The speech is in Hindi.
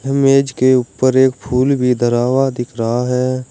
मेज के ऊपर एक फूल भी धरा हुआ दिख रहा है।